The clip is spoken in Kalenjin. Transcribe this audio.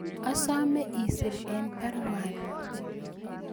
Asome isir en baruani